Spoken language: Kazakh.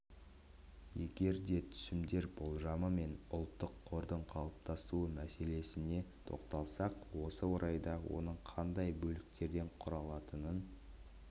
егер де түсімдер болжамы мен ұлттық қордың қалыптасуы мәселесіне тоқталсақ осы орайда оның қандай бөліктерден құралатынын